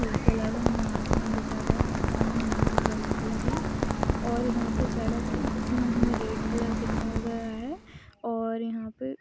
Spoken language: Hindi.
इसके अलावा हुमे आसमान दिखा गया आसमान ब्लू व्हाइट कलर है और यहा पे सड़क है जिसमे हमे रेड कलर दिखाया गया है और यहाँ पे--